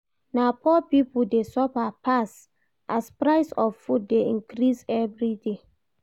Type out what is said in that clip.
Na poor pipo dey suffer pass as price of food dey increase everyday.